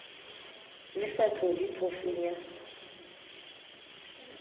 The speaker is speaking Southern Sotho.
le sa tlohe phofung ya